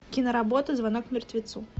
киноработа звонок мертвецу